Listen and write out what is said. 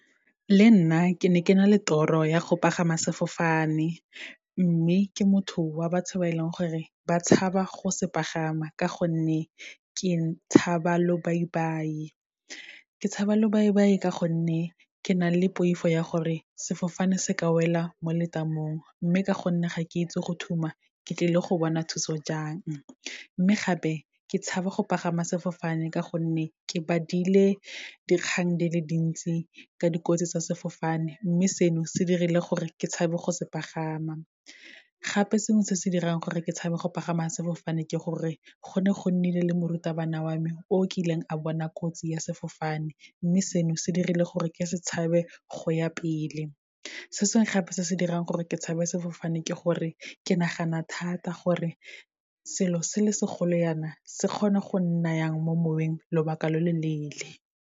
Le nna ke ne ke na le toro ya go pagama sefofane, mme ke motho wa batho ba e leng gore ba tshaba go se pagama, ka gonne ke tshaba lobaibai. Ke tshaba lobaibai ka gonne, ke na le poifo ya gore sefofane se ka wela mo le tamong, mme ka gonne ga ke itse go thuma, ke tlile go bona thuso jang. Mme gape, ke tshaba go pagama sefofane ka gonne, ke badile dikgang di le dintsi ka dikotsi tsa sefofane, mme seno se dirile gore ke tshabe go se pagama. Gape sengwe se se dirang gore ke tshabe go pagama sefofane ke gore, go ne go nnile le morutabana wa me o kileng a bona kotsi ya sefofane, mme seno se dirile gore ke se tshabe go ya pele. Se sengwe gape se se dirang gore ke tshabe sefofane ke gore, ke nagana thata, gore selo se le segolo yana, se kgona go nna yang mo moweng, lobaka lo lo leele.